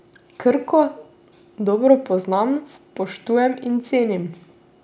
Krko dobro poznam, spoštujem in cenim.